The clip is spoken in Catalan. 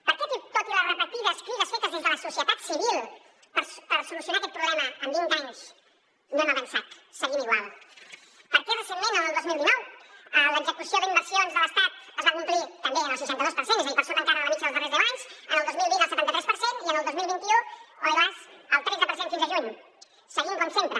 per què tot i les repetides crides fetes des de la societat civil per solucionar aquest problema en vint anys no hem avançat seguim igual per què recentment el dos mil dinou l’execució d’inversions de l’estat es va complir també en el seixanta dos per cent és a dir per sota encara de la mitjana dels darrers deu anys el dos mil vint en el setanta tres per cent i el dos mil vint u ai las en el tretze per cent fins a juny seguim com sempre